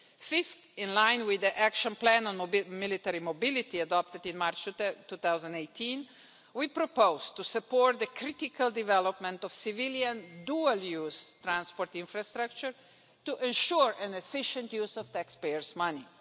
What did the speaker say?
Fifth, in line with the action plan on military mobility adopted in March 2018, we propose to support the critical development of civilian dual use transport infrastructure to ensure an efficient use of taxpayers' money.